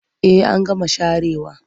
Eh an gama sharewa.